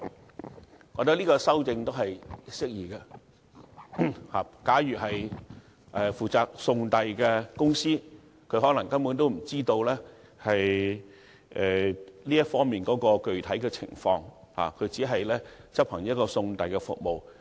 我覺得這項修訂適宜。負責送遞的公司可能根本不知道售賣或供應酒類的具體情況，只是提供一項送遞服務。